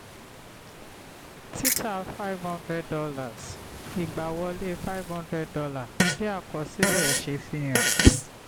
títà five hundred dollars igbáwọlé five hundred dollars — bí àkọsílẹ̀ ṣe fihan.